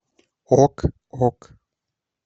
ок ок